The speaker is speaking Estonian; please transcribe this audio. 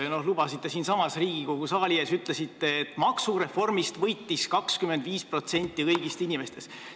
Te olete siinsamas Riigikogu saali ees öelnud, et maksureformist võitis 85% inimestest.